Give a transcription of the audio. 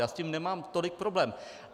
Já s tím nemám tolik problém.